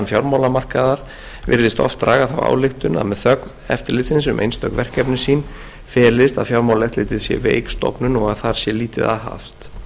fjármálamarkaðar virðist oft draga þá ályktun að með þögn eftirlitsins um einstök verkefni sín felist að fjármálaeftirlitið sé veik stofnun og að þar sé lítið aðhafst